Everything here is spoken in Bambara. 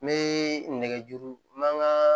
N bɛ nɛgɛjuru n man n ka